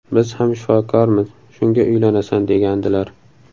Biz ham shifokormiz, shunga uylanasan’, degandilar.